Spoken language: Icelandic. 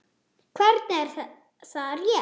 Hvernig, er það rétt?